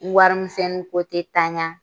N warimisɛnnin ko tɛ tan ya.